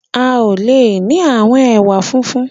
A o le ni àwọn ẹwà funfun.